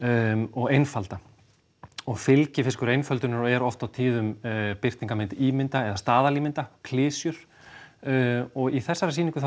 og einfalda og fylgifiskur einföldunar eru oft birtingarmyndir ímynda eða staðalímynda klisjur og í þessari sýningu þá